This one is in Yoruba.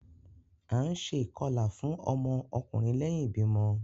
A ǹ ṣe ikọla fún ọmọ ọkunrin lẹhin ibimọ